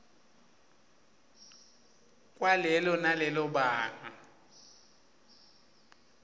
kwalelo nalelo banga